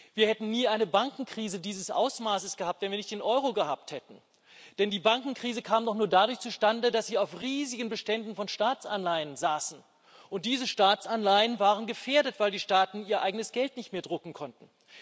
Wir hätten nie eine Bankenkrise dieses Ausmaßes gehabt, wenn wir nicht den Euro gehabt hätten, denn die Bankenkrise kam doch nur dadurch zustande, dass die Staaten auf riesigen Beständen von Staatsanleihen saßen, und diese Staatsanleihen waren gefährdet, weil die Staaten ihr eigenes Geld nicht mehr drucken konnten.